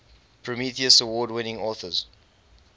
prometheus award winning authors